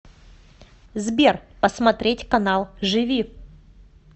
сбер посмотреть канал живи